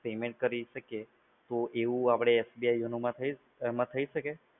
payment કરી શકીએ એવું આપણે YONO માં થઈ શકે?